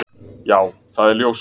Já það er ljóst.